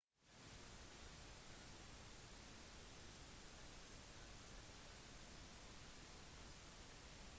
en godt likt ferdighet som mange turister ønsker å lære er boomerang-kasting